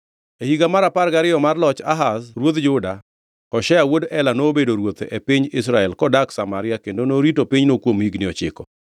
E higa mar apar gariyo mar loch Ahaz ruodh Juda, Hoshea wuod Ela nobedo ruoth e piny Israel kodak Samaria kendo norito pinyno kuom higni ochiko.